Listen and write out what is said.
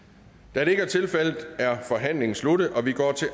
da det ikke er tilfældet er forhandlingen sluttet og vi går til